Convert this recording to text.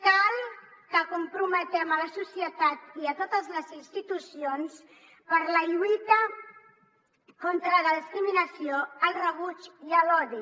cal que comprometem la societat i totes les institucions per a la lluita contra la discriminació el rebuig i l’odi